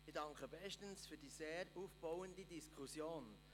Ich danke bestens für die sehr aufbauende Diskussion.